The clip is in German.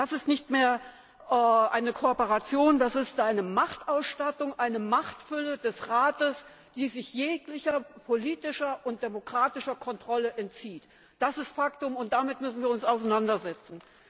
Das ist keine Kooperation mehr, das ist eine Machtausstattung, eine Machtfülle des Rates, die sich jeglicher politischer und demokratischer Kontrolle entzieht. Das ist Faktum, und damit müssen wir uns auseinandersetzen!